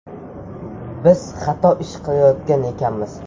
Biz xato ish qilayotgan ekanmiz.